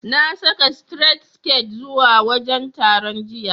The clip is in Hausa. Na saka sitiret siket zuwa wajen taron, jiya.